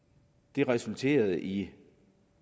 det resulterede i